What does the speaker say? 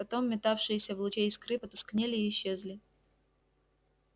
потом метавшиеся в луче искры потускнели и исчезли